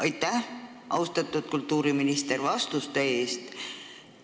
Aitäh, austatud kultuuriminister, vastuste eest!